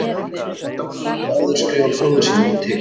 Sóla hafði áður skrifað bróður sínum til